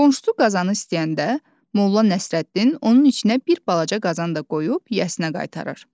Qonşusu qazanı istəyəndə Molla Nəsrəddin onun içinə bir balaca qazan da qoyub yəsinə qaytarır.